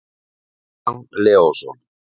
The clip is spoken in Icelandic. kristján leósson